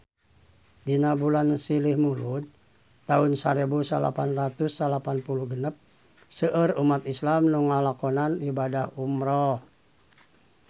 Dina bulan Silih Mulud taun sarebu salapan ratus salapan puluh genep seueur umat islam nu ngalakonan ibadah umrah